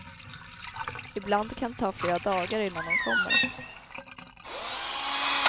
Ibland kan det ta flera dagar innan de kommer.